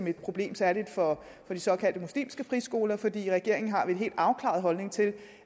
et problem særligt for de såkaldte muslimske friskoler for i regeringen har vi en helt afklaret holdning til